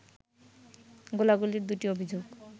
গোলাগুলির দুটি অভিযোগ